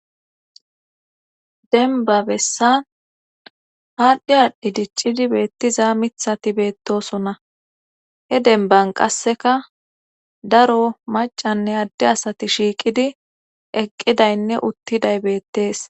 Denba besan adhi adhi dicida mithati betosona daro macanne adde asati eqidaynne utiday bettes.